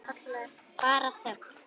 Bara þögn.